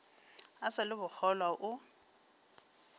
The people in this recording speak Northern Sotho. a sa le bokgolwa o